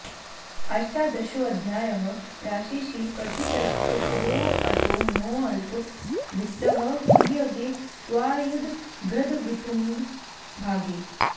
अष्टादशोऽध्यायः राशिशील प्रथितश्चतुरोऽटनोऽल्प वित्तः क्रियगे त्वायुध भृद् वितुङ्ग भागे